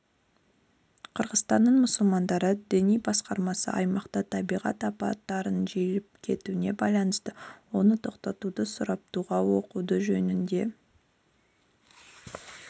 қырғызстанның мұсылмандары діни басқармасы аймақта табиғат апаттарының жиілеп кетуіне байланысты оны тоқтатуды сұрап дұға оқу жөнінде